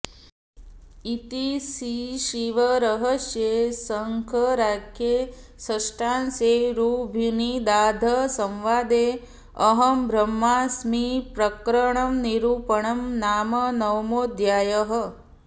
इति श्रीशिवरहस्ये शङ्कराख्ये षष्ठांशे ऋभुनिदाघसंवादे अहंब्रह्मास्मिप्रकरणनिरूपणं नाम नवमोऽध्यायः